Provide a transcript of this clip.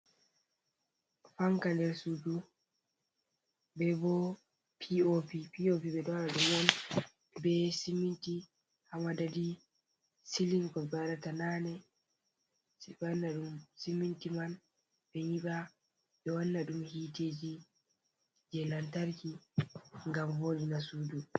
Fanka nder sudu be bo pop, pop ɓe ɗo waɗa ɗum on be siminti ha madadi silim ko ɓe waɗata nane, sai ɓe wana ɗum siminti ma ɓe nyiɓa ɓe wanna ɗum hiteji je lantarki ngam voɗi na sudu.